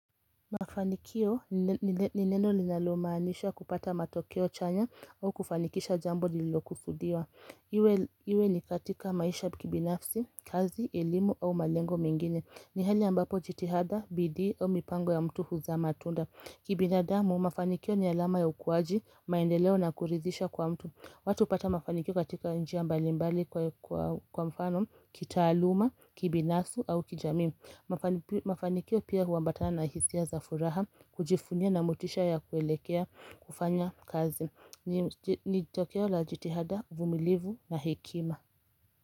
Mafanikio ni neno linalomaanisha kupata matokeo chanya au kufanikisha jambo lililokusudiwa Iwe ni katika maisha kibinafsi, kazi, eilimu au malengo mengine. Ni hali ambapo jitihada, bidii au mipango ya mtu huzaa matunda Kibinadamu, mafanikio ni alama ya ukuaji, maendeleo na kurithisha kwa mtu. Watu hupata mafanikio katika njia mbalimbali kwa mfano, kitaaluma, kibinafsi au kijamii Mafanikio pia huambatana na hisia za furaha kujivunia na motisha ya kuelekea kufanya kazi ni tokeo la jitihada, uvumilivu na hekima.